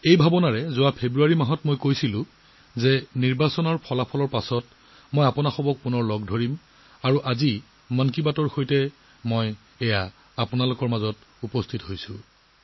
এই জ্ঞানেৰে মই ফেব্ৰুৱাৰী মাহত কৈছিলো যে নিৰ্বাচনৰ ফলাফলৰ পিছত মই পুনৰ লগ পাম আৰু আজি 'মন কী বাত'ৰ জৰিয়তে মই আকৌ আপোনালোকৰ মাজলৈ আহিলোঁ